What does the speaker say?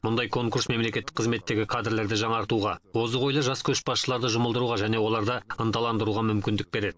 мұндай конкурс мемлекеттік қызметтегі кадрлерді жаңартуға озық ойлы жас көшбасшыларды жұмылдыруға және оларды ынталандыруға мүмкіндік береді